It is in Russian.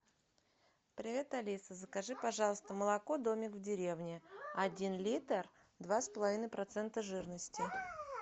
привет алиса закажи пожалуйста молоко домик в деревне один литр два с половиной процента жирности